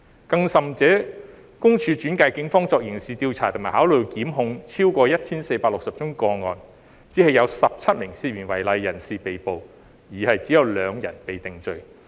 更甚者，私隱公署轉介了超過 1,460 宗個案予警方作刑事調査及考慮檢控，只有17名涉嫌違例人士被捕，只有2人被定罪。